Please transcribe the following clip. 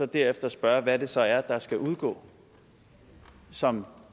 derefter spørge hvad det så er der skal udgå som